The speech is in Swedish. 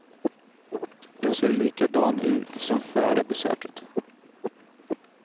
Jag ser likadan ut som före besöket.